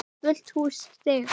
Fullt hús stiga.